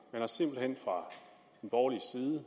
man har simpelt hen fra borgerlig side